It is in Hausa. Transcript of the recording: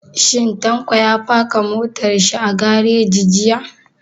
Shin Tanko ya faka motar shi a gareji jiya?